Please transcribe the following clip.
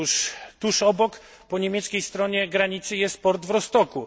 Otóż tuż obok, po niemieckiej stronie granicy jest port w Rostocku.